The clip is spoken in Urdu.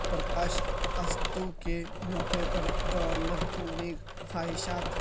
پرکاش اتسو کے موقع پر گورنر کی نیک خواہشا ت